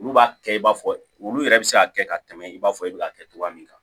Olu b'a kɛ i b'a fɔ olu yɛrɛ bɛ se ka kɛ ka tɛmɛ i b'a fɔ e bɛ k'a kɛ cogoya min na